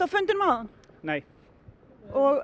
fundinum áðan nei og